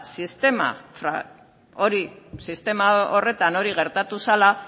sistema horretan hori gertatu zela